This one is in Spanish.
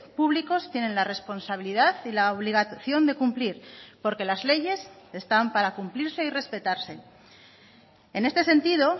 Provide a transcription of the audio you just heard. públicos tienen la responsabilidad y la obligación de cumplir porque las leyes están para cumplirse y respetarse en este sentido